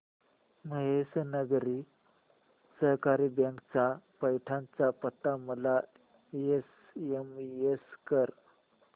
Mahesh Nagari Sahakari bank चा पैठण चा पत्ता मला एसएमएस कर